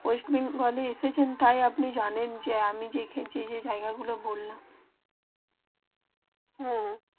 West বেঙ্গলে এসেছেন তাই আপনি জানেন যে আমি যে যে জায়গা গুলু বললাম হেঁ